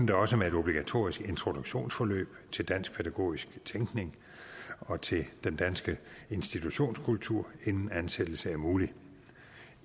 det også med et obligatorisk introduktionsforløb til dansk pædagogisk tænkning og til den danske institutionskultur inden en ansættelse er mulig